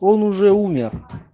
он уже умер